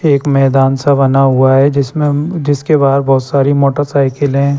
एक मैदान सा बना हुआ है जिसमें जिसके बाहर बहुत सारी मोटरसाइकिलें --